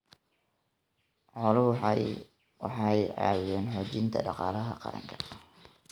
Xooluhu waxay ka caawiyaan xoojinta dhaqaalaha qaranka.